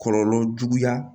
Kɔlɔlɔ juguya